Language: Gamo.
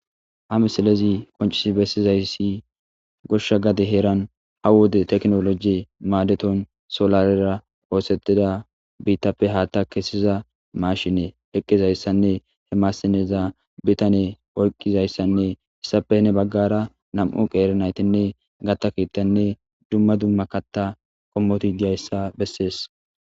Ha missiaezi qoncisi bessizayssi goshsha gade heeran ha wode teknoloji maadeton solarera oosetida biittappe haatta kessiza maashine eqqizayssanne he maassineza bitan oyqqizayssanne issappe ne baggara nam7u qeere naytinne gatta kiittanne dumma dumma katta qommoti diyayssa bessees.